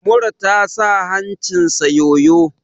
Mura ta sa hancinsa yoyo!